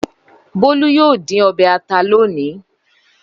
Bólú yóò dín ọbẹ̀ ata lónìí.